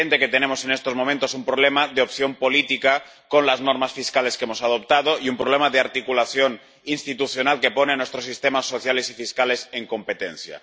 es evidente que tenemos en estos momentos un problema de opción política con las normas fiscales que hemos adoptado y un problema de articulación institucional que pone a nuestros sistemas sociales y fiscales en competencia.